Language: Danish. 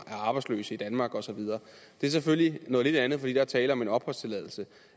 er arbejdsløse i danmark og så videre det er selvfølgelig noget lidt andet fordi der er tale om en opholdstilladelse